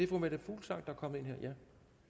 fru meta fuglsang kommer ind her